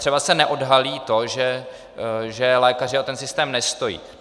Třeba se neodhalí to, že lékaři o ten systém nestojí.